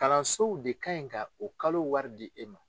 Kalansow de ka ɲi ka o kalo wari di e ma.